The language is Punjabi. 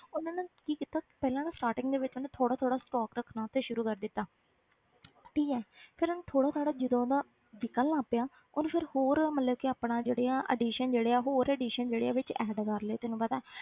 ਉਹਨੇ ਨਾ ਕੀ ਕੀਤਾ ਪਹਿਲਾਂ ਤਾਂ starting ਦੇ ਵਿੱਚ ਉਹਨੇ ਥੋੜ੍ਹਾ ਥੋੜ੍ਹਾ stock ਰੱਖਣਾ ਉੱਥੇ ਸ਼ੁਰੂ ਕਰ ਦਿੱਤਾ ਠੀਕ ਹੈ ਫਿਰ ਉਹਨੇ ਥੋੜ੍ਹਾ ਥੋੜ੍ਹਾ ਜਦੋਂ ਉਹਦਾ ਵਿੱਕਣ ਲੱਗ ਪਿਆ ਉਹਨੇ ਫਿਰ ਹੋਰ ਮਤਲਬ ਕਿ ਆਪਣਾ ਜਿਹੜੇ ਆ addition ਜਿਹੜੇ ਆ ਉਹ ਹੋਰ addition ਜਿਹੜੇ ਆ ਵਿੱਚ add ਕਰ ਲਏ ਤੈਨੂੰ ਪਤਾ ਹੈ।